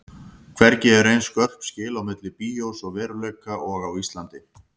Hvergi eru eins skörp skil á milli bíós og veruleika og á Íslandi.